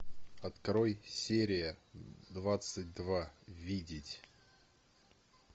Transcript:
открой серия двадцать два видеть